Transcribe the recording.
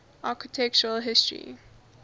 architectural history